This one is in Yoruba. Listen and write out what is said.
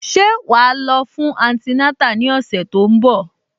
Ṣé wà á lọ fún antinátà ní ọ̀sẹ̀ tó ń bọ̀?